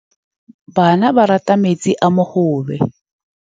Bana ba rata metsi a mogobe.